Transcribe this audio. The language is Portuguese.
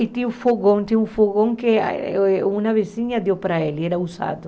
E tinha um fogão, tinha um fogão que ah eh uma vizinha deu para ele, era usado.